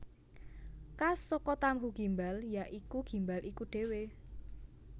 Kas saka tahu gimbal ya iku gimbal iku dhewe